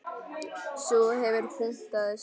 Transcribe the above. Sú hefur puntað sig!